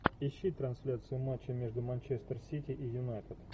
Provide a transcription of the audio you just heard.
ищи трансляцию матча между манчестер сити и юнайтед